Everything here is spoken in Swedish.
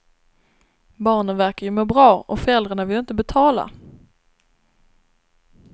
Barnen verkar ju må bra och föräldrarna vill inte betala.